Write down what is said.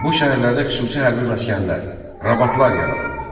Bu şəhərlərdə xüsusi hərbi məskənlər, rabatlar yaradıldı.